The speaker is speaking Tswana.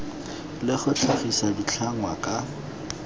le go tlhagisa ditlhangwa ka